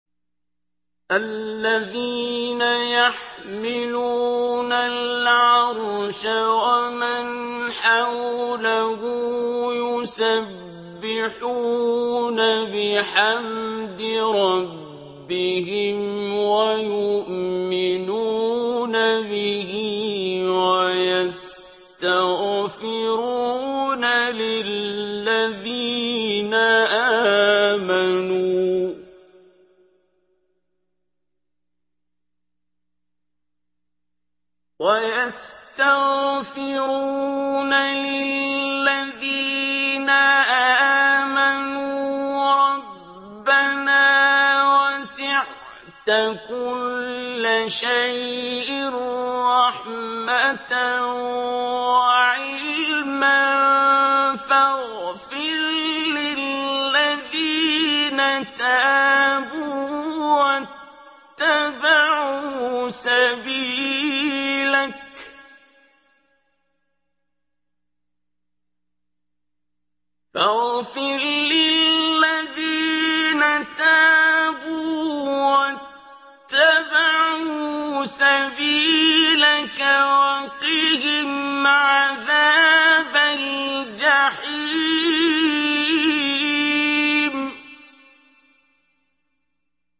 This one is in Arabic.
الَّذِينَ يَحْمِلُونَ الْعَرْشَ وَمَنْ حَوْلَهُ يُسَبِّحُونَ بِحَمْدِ رَبِّهِمْ وَيُؤْمِنُونَ بِهِ وَيَسْتَغْفِرُونَ لِلَّذِينَ آمَنُوا رَبَّنَا وَسِعْتَ كُلَّ شَيْءٍ رَّحْمَةً وَعِلْمًا فَاغْفِرْ لِلَّذِينَ تَابُوا وَاتَّبَعُوا سَبِيلَكَ وَقِهِمْ عَذَابَ الْجَحِيمِ